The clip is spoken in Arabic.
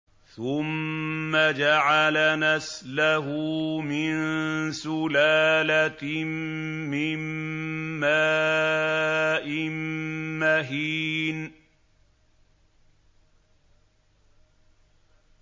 ثُمَّ جَعَلَ نَسْلَهُ مِن سُلَالَةٍ مِّن مَّاءٍ مَّهِينٍ